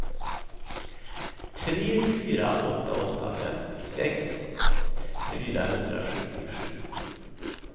tre fyra åtta åtta femtiosex fyrahundrasjuttiosju